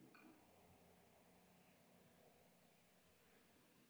Dugsiyo badan ayaa agabkoodu aad u yar yahay oo ciriiri badan.